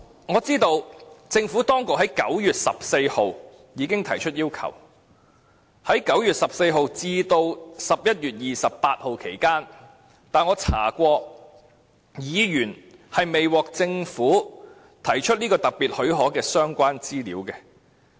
我知道政府當局在9月14日已經提出要求，在9月14日至11月28日期間，我曾翻查紀錄，發現議員並未獲提供政府提出這個特別許可的相關資料。